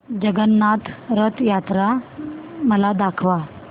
जगन्नाथ रथ यात्रा मला दाखवा